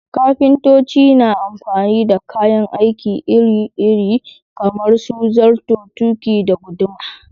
Kafintoci na amfani da kayan aiki iri-iri kamar su zarto, tuƙi, da guduma.